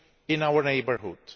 in our neighbourhood.